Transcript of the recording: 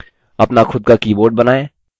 अपना खुद का board बनाएँ